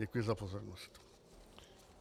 Děkuji za pozornost.